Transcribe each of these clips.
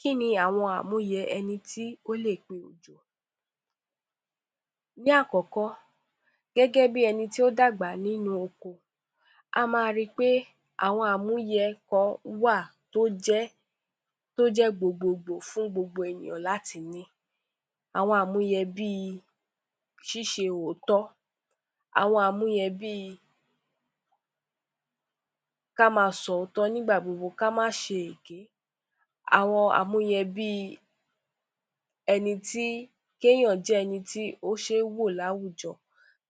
Kí ni amúyẹ ẹni tí ó lè gbẹ òjò? Ni àkọ́kọ́ gẹ́gẹ́ bí ẹni tí ó dàgbà nínú oko, a máa rí pé àwọn amúyẹ kan wà tí ó ké gbogbogbo, tó jẹ́ gbogbo fún gbogbo ènìyàn láti ní, àwọn amúyẹ bí, ṣíṣe òótọ́, ṣíṣe amúyẹ bí kí a máa sọ òótọ́, kí a máa ṣe èké, àwọn amúyẹ bí ẹni tí kì ènìyàn jẹ ẹni tí ó ṣe ń wò láwùjọ,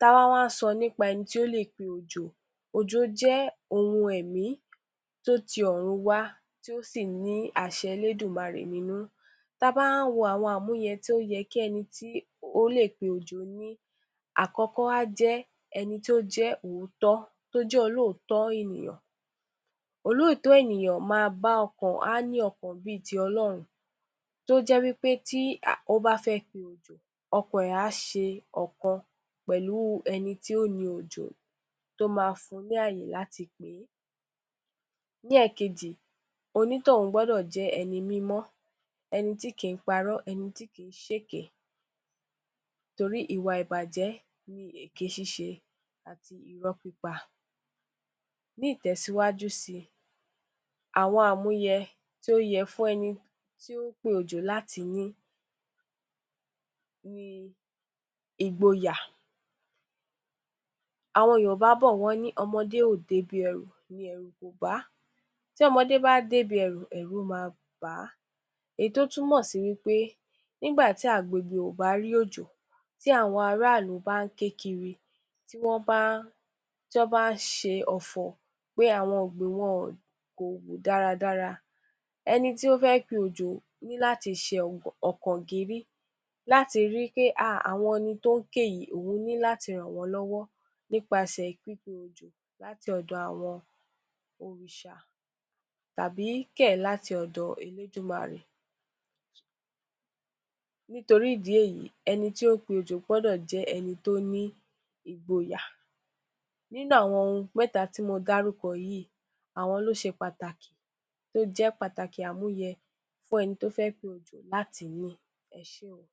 kí a wá sọ nípa ẹni tí ó lè pé òjò. Òjò jẹ́ ohun ẹ̀mí tí ó ti ọ̀run wá ti o sí ní àṣẹ Elédùmarè nínú, tí a bá wá ń wò àwọn amúyẹ tí ẹni tí ó lè pé òjò ní, àkọ́kọ́ á jẹ ẹni tí ó ní òótọ́, ẹni tí ó jẹ olóòótọ́ ènìyàn, olóòótọ́ ènìyàn máa bá ọkàn, a ní ọkàn bí ti Ọlọ́run tí ó jẹ́ wí pé tí ó bá a fẹ́ pe òjò, ọkàn rẹ a ṣe ọ̀kan pẹ̀lú ẹni tí ó ni òjò tí ó máa fún ní àyè láti pe e. Ní èkejì, onítọ̀hún gbọ́dọ̀ jẹ́ ẹni mímọ́, ẹni tí kì í parọ́ tí kì í ṣe èké, nítorí ìwà ìbàjẹ́ ni èké ṣiṣẹ́ àti irọ́ pípa. Ní ìtẹ̀síwájú sí, àwọn amúyẹ tí ó yẹ fún ẹni tí ó pe òjò láti ní, ní Ìgboyà. Àwọn Yorùbá bọ̀ wọn ní ọmọdé ó dé ibi ẹrù, ní ẹrù kò bá a, tí ọmọdé bá a dé ibi ẹrù, ẹrù á bà, èyí tí ó túmọ̀ sí ní pe ìgbà tí àgbogì àwọn aráàlú bá ń ké kiri, tí wọn bá ṣe Ọfọ̀ pé àwọn ọgbìn wọn kò wù dáradára tí ó fẹ́ ṣe òjò ni láti ṣe ọkàn gírí láti rí pé ha, àwọn tí ó ń ké yìí òun ni láti ràn wọn lọ́wọ́ nípasẹ̀ pípe òjò láti ọ̀dọ̀ àwọn Òrìṣà tàbí kẹ̀ láti ọ̀dọ̀ Elédùmarè. Nítorí ìdí èyí, ẹni tí ó pe òjò gbọ́dọ̀ ní Ìgboyà, nínú àwọn ohun mẹ́ta tí mo dárúkọ yìí àwọn ló ṣe pàtàkì, tí ó jẹ pàtàkì amúyẹ fún ẹni tí ó fẹ́ pe òjò láti ní. Ẹ ṣé óò.